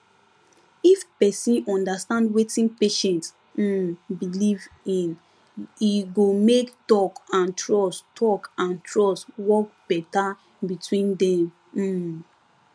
if person understand wetin patient um believe in e go make talk and trust talk and trust work better between dem um